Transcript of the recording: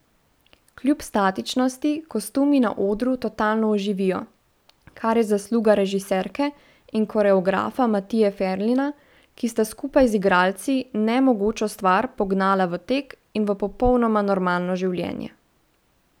Kljub statičnosti kostumi na odru totalno oživijo, kar je zasluga režiserke in koreografa Matije Ferlina, ki sta skupaj z igralci nemogočo stvar pognala v tek in v popolnoma normalno življenje.